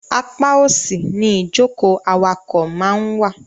Apá òsì ni ìjókòó awakọ̀ máa ń wà.